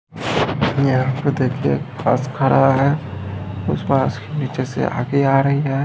यहां पे देखिए बस खड़ा है उस के नीचे से आगे आ रही है।